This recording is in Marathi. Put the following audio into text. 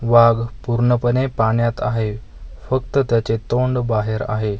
वाघ पूर्णपणे पाण्यात आहे फक्त त्याचे तोंड बाहेर आहे.